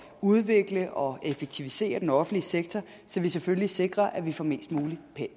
udvikle og effektivisere den offentlige sektor så vi selvfølgelig sikrer at vi får mest mulig